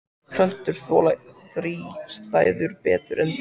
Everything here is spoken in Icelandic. Plöntur þola þrístæður betur en dýr.